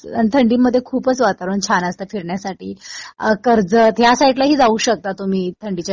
आणि थंडीमध्ये खूपच वातावरण छान असतं फिरण्यासाठी. कर्जत या साईडलाही जाऊ शकता तुम्ही थंडीच्या